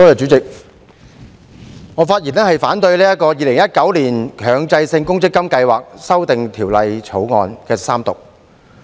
主席，我發言反對《2019年強制性公積金計劃條例草案》三讀。